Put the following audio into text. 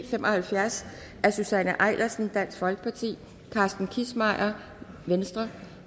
fem og halvfjerds af susanne eilersen carsten kissmeyer